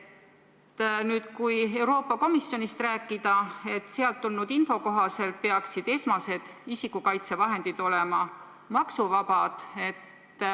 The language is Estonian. Kui nüüd Euroopa Komisjonist rääkida, siis sealt tulnud info kohaselt peaksid esmased isikukaitsevahendid olema maksuvabad.